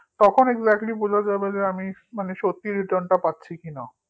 তখন exactly বোঝা যাবে যে আমি সত্যিই return টা পাচ্ছে কিনা